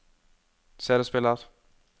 CD-spiller